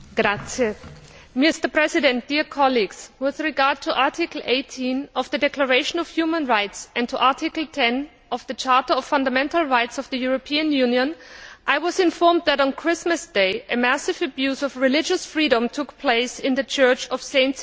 Mr President, with regard to Article 18 of the Universal Declaration of Human Rights, and to Article 10 of the Charter of Fundamental Rights of the European Union, I was informed that, on Christmas Day, a massive abuse of religious freedom took place in the Church of St.